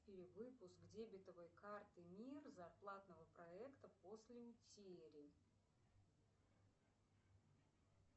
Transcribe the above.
перевыпуск дебетовой карты мир зарплатного проекта после утери